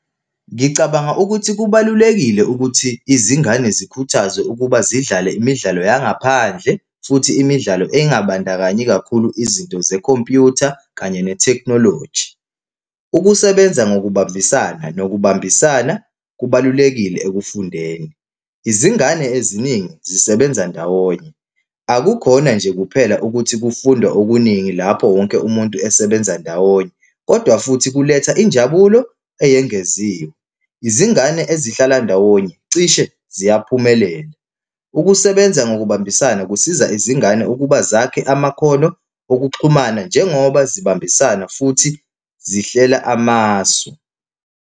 Ngicabanga ukuthi kubalulekile ukuthi izingane zikhuthazwe ukuba zidlale imidlalo yangaphandle, futhi imidlalo engabandakanyi kakhulu izinto zekhompyutha kanye nethekhnoloji. Ukusebenza ngokubambisana nokubambisana, kubalulekile ekufundeni. Izingane eziningi zisebenza ndawonye. Akukhona nje kuphela ukuthi kufundwa okuningi lapho wonke umuntu esebenza ndawonye, kodwa futhi kuletha injabulo eyengeziwe. Izingane ezihlala ndawonye cishe ziyaphumelela. Ukusebenza ngokubambisana kusiza izingane ukuba zakhe amakhono okuxhumana njengoba zibambisana futhi zihlela amasu.